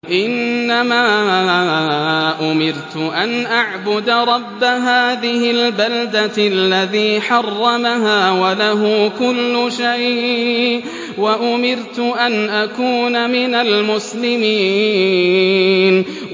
إِنَّمَا أُمِرْتُ أَنْ أَعْبُدَ رَبَّ هَٰذِهِ الْبَلْدَةِ الَّذِي حَرَّمَهَا وَلَهُ كُلُّ شَيْءٍ ۖ وَأُمِرْتُ أَنْ أَكُونَ مِنَ الْمُسْلِمِينَ